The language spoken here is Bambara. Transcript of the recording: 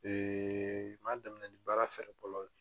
Ee n b'a daminɛ ni baara fɛɛrɛ fɔlɔ ye